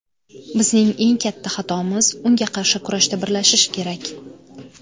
Bizning eng katta xatomiz, unga qarshi kurashda birlashish kerak.